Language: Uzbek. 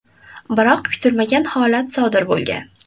Biroq kutilmagan holat sodir bo‘lgan.